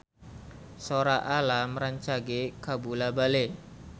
Sora Alam rancage kabula-bale